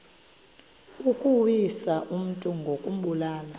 ukuwisa umntu ngokumbulala